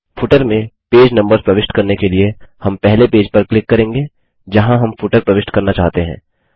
footer में page numbers प्रविष्ट करने के लिए हम पहले पेज पर क्लिक करेंगे जहाँ हम फुटर प्रविष्ट करना चाहते हैं